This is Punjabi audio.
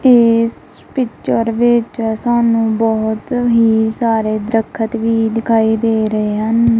ਇਸ ਪਿਕਚਰ ਵਿੱਚ ਸਾਨੂੰ ਬਹੁਤ ਹੀ ਸਾਰੇ ਦਖਤ ਵੀ ਦਿਖਾਈ ਦੇ ਰਹੇ ਹਨ।